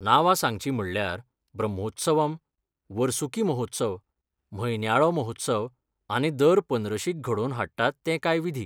नांवां सांगचीं म्हणल्यार ब्रह्मोत्सवम्, वर्सुकी महोत्सव, म्हयन्याळो महोत्सव आनी दर पंद्रशीक घडोवन हाडटात ते कांय विधी.